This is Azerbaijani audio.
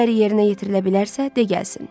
Əgər yerinə yetirilə bilərsə, de gəlsin.